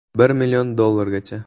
“Bir million dollargacha”.